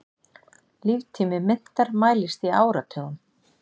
Líftími myntar mælist í áratugum.